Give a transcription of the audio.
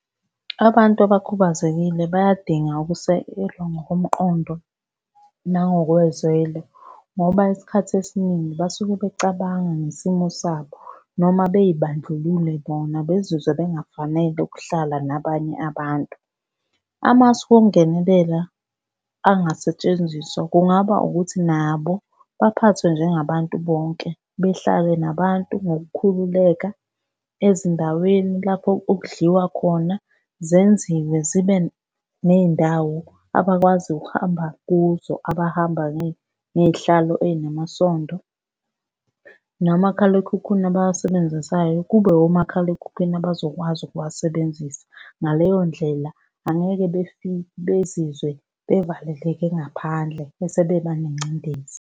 Abantu abakhubazekile bayadinga ukusekelwa ngokomqondo nangokwezwelo, ngoba isikhathi esiningi basuke becabanga ngesimo sabo noma bey'bandlulule bona bezizwe bengafanele ukuhlala nabanye abantu. Amasu okungenelela angasetshenziswa, kungaba ukuthi nabo baphathwe njengabantu bonke. Behlale nabantu ngokukhululeka ezindaweni lapho okudliwa khona zenziwe zibe ney'ndawo abakwazi ukuhamba kuzo abahamba ngey'hlalo ey'namasondo. Nomakhalekhukhwini abawasebenzisayo kube omakhalekhukhwini abazokwazi ukuwasebenzisa. Ngaleyo ndlela angeke bezizwe bevaleleke ngaphandle bese beba nengcindezi.